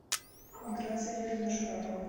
миграция юрьевна шарапова